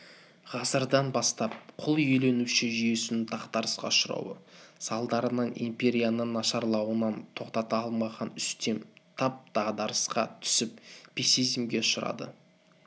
ғасырдан бастап құл иеленуші жүйесінің дағдарысқа ұшырауы салдарынан империяның нашарлануын тоқтата алмаған үстем тап дағдарысқа түсіп пессимизмге ұшырады